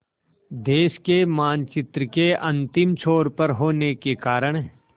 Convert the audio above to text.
देश के मानचित्र के अंतिम छोर पर होने के कारण